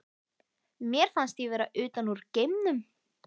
Mér fannst ég vera utan úr geimnum.